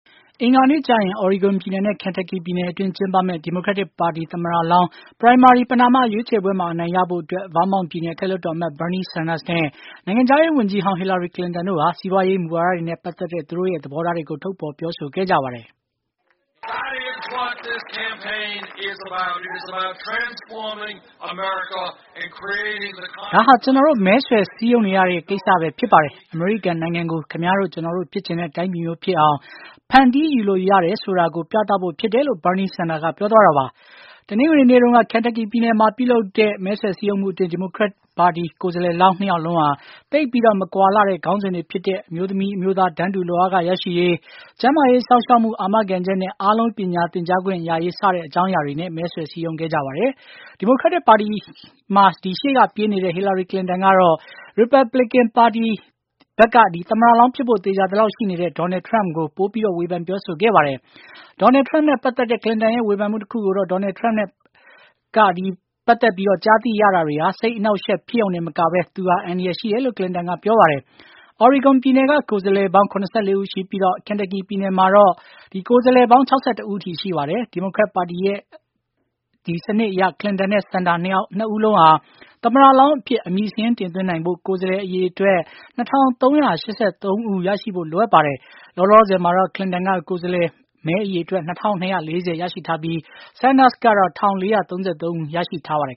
အင်္ဂါနေ့ကျရင် Oregon ပြည်နယ်နဲ့ Kentucky ပြည်အတွင်း ကျင်းပမယ့် ဒီမိုကရက်ပါတီသမ္မတလောင်း ပဏာမ ရွေးချယ်ပွဲမှာ အနိုင်ရဖို့အတွက် Vermont ပြည်နယ် အထက်လွှတ်တော်အမတ် Bernie Sanders နဲ့ နိုင်ငံခြားရေးဝန်ကြီးဟောင်း Hillary Clinton တို့ဟာ စီးပွားရေးနဲ့ ပတ်သက်တဲ့ သူတို့သဘောထားတွေကို ထုတ်ဖော်ပြောဆိုခဲ့ကြပါတယ်။ “ဒါဟာ ကျနော်တို့ မဲဆွယ်စည်းရုံးရတဲ့ ကိစ္စတွေပဲဖြစ်ပါတယ်။ အမေရိကန်နိုင်ငံကို မင်းတို့၊ ငါတို့ဖြစ်ချင်တဲ့ တိုင်းပြည်မျိုးဖြစ်အောင် ဖန်တီးယူလို့ရတယ်ဆိုတာကို ပြသဖို့ဖြစ်တယ်။” လို့ Benie Senders ကပြောသွားတာပါ။ တနင်္ဂနွေနေ့တုန်းက Kentucky ပြည်နယ်မှာ ပြုလုပ်တဲ့ မဲဆွယ်စည်းရုံးမှုအတွင်း ဒီမိုကရက်ပါတီ ကိုယ်စားလှယ်လောင်း နှစ်ယောက်စလုံးဟာ သိပ်ပြီးမကွာလှတဲ့ ခေါင်းစဉ်တွေဖြစ်တဲ့ အမျိုးသမီး - အမျိုးသား တန်းတူလုပ်အားခ ရရှိရေး၊ ကျန်းမာရေးစောင့်ရှောက်မှုအာမခံချက်နဲ့ အားလုံးပညာသင်ကြားခွင့်ရရေး စတဲ့အကြောင်းအရာတွေနဲ့ မဲဆွယ်စည်းရုံးခဲ့ကြတာ ဖြစ်ပါတယ်။ ဒီမိုကရက်တစ်ပါတီက ရှေ့ကပြေးနေတဲ့ Hillary Clinton ကတော့ Republican ပါတီဘက် သမ္မတလောင်း ဖြစ်ဖို့သေခြာသလောက်ရှိနေတဲ့ Donald Trump ဘက်ကို ပိုပြီး ဝေဖန်ပြောဆိုခဲ့ပါတယ်။ Donald Trump နဲ့ ပတ်သက်တဲ့ Clinton ရဲ့ ဝေဖန်မှုတခုကတော့ Donald Trump နဲ့ပတ်သက်ပြီး ကြားသိရတာတွေဟာ စိတ်အနှောင့်အယှက် ဖြစ်ယုံတင်မကပဲ သူဟာ အန္တရာယ်ရှိတယ်လို့ Clinton က ပြောပါတယ်။ Oregon ပြည်နယ်က ကိုယ်စားလှယ်ပေါင်း ၇၄ ဦးရှိပြီး Kentucky ပြည်နယ်မှာတော့ ကိုယ်စားလှယ်ပေါင်း ၆၁ ဦးရှိပါတယ်။ ဒီမိုကရက်ပါတီရဲ့ စနစ်အရ Clinton နဲ့ Sanders နှစ်ယောက်စလုံးဟာ သမ္မတလောင်းအဖြစ် အမည်စာရင်းတင်သွင်းနိုင်ဖို့ ကိုယ်စားလှယ်အရေအတွက် ၂၃၈၃ ယောက် ရဖို့လိုအပ်ပါတယ်။ လောလောဆယ်တော့ Clinton က ကိုယ်စားလှယ်အရေအတွက် ၂၂၄၀ ရရှိထားပြီး Sanders ကတော့ ၁၄၃၃ ယောက်ရရှိထားပါတယ်